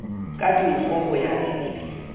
ka dinkgo ho ya sedibeng